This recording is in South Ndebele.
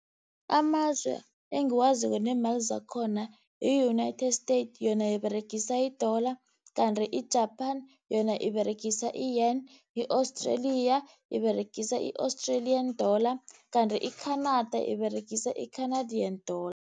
Amazwe engiwaziko neemali zakhona, yi-United States, yona iberegisa i-dollar. Kanti i-Japan yona iberegisa i-yen, i-Australia yona iberegisa i-Australian dollar, kanti i-Canada iberegisa i-Canadian dollar.